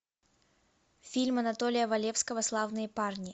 фильм анатолия валевского славные парни